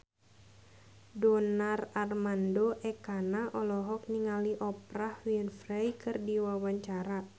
Donar Armando Ekana olohok ningali Oprah Winfrey keur diwawancara